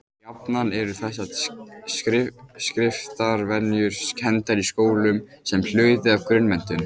Jafnan eru þessar skriftarvenjur kenndar í skólum sem hluti af grunnmenntun.